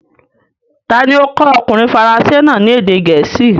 Ta ni ó kọ́ ọkùnrin faransé náà ní èdè gẹ̀ẹ́sì?